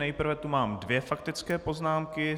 Nejprve tu mám dvě faktické poznámky.